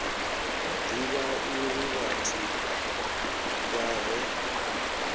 divha uri vhathu vha re